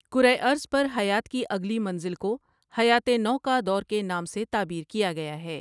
کرہ ارض پر حیات کی اگلی منزل کو حیاتِ نو کا دور کے نام سے تعبیر کیا گیا ہے ۔